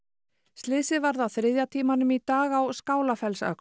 slysið varð á þriðja tímanum í dag á